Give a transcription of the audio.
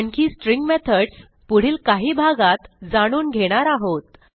आणखी string methods पुढील काही भागात जाणून घेणार आहोत